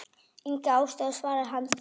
Enga ástæðu svarar hann kíminn.